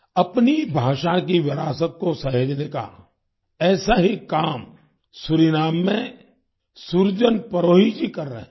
अपनी भाषा की विरासत को सहेजने का ऐसा ही काम सूरीनाम में सुरजन परोही जी कर रहे हैं